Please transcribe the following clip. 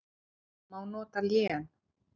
Má nota lén